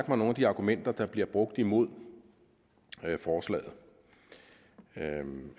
mig nogle af de argumenter der bliver brugt imod forslaget